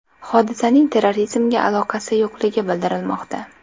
Hodisaning terrorizmga aloqasi yo‘qligi bildirilmoqda.